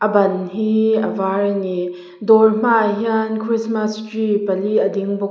a ban hi a var a ni dawr hmaah hian christmas tree pali a ding bawk a.